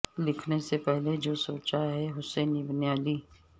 لکھنے سے پہلے جو سوچا ہے حسین ابن علی